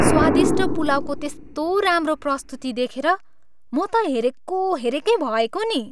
स्वादिष्ट पुलाउको त्यस्तो राम्रो प्रस्तुति देखेर म त हेरेको हेरेकै भएको नि।